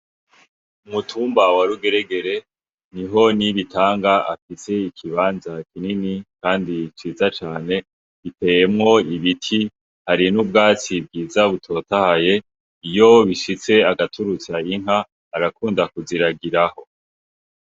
Umutumba wa Rugeregere, niho Nibitanga afise ikibanza kinini kandi ciza cane. Giteyemwo ibiti, hari n'ubwatsi bwiza butotahaye, iyo bishitse agaturutsa inka, arakunda kuziragiraho.